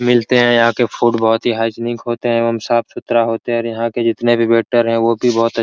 मिलते है और यहाँ के फ़ूड बहुत ही हाइजीनिक होते हैं और साफ़-सुथरा होते है और यहाँ की जितने भी वेटर है वो भी बहुत अ--